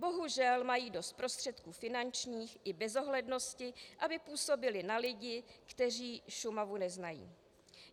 Bohužel mají dost prostředků finančních i bezohlednosti, aby působili na lidi, kteří Šumavu neznají.